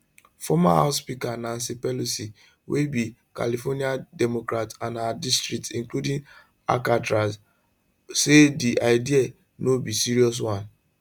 former house speaker nancy pelosi wey be california democrat and her district include alcatraz say di idea no be serious one